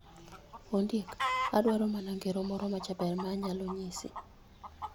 Ondiek, adwaro mana ngero moro majaber ma anyalo nyisi.